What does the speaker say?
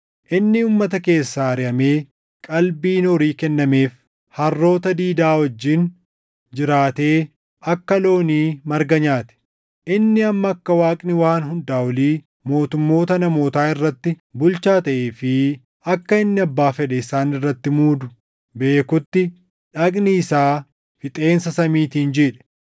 Inni uummata keessaa ariʼamee qalbiin horii kennameef; harroota diidaa wajjin jiraatee akka loonii marga nyaate; inni hamma akka Waaqni Waan Hundaa Olii mootummoota namootaa irratti bulchaa taʼee fi akka inni abbaa fedhe isaan irratti muudu beekutti dhagni isaa fixeensa samiitiin jiidhe.